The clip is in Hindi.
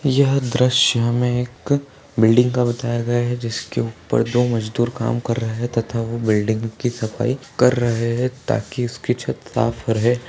यह दृश्य हमे एक बिल्डिंग का बताया गया हैं जिसके ऊपर दो मजदूर काम कर रहे हैं तथा वो बिल्डिंग की सफाई कर रहे हे ताकि उसकी छत साफ रहे।